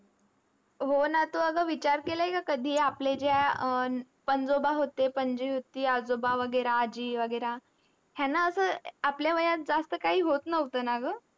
हो ना. तू अग विचार केलाय का कधी आपले ज्या अह पंजोबा होते, पणजी होती, आजोबा वगैरा, आजी वगैरा. ह्यांना असं अह आपल्या वयात जास्त काही होत नव्हतं ना गं?